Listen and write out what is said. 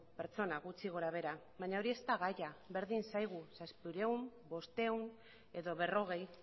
pertsona gutxi gorabehera baina hori ez da gaia berdin zaigu zazpiehun bostehun edo berrogei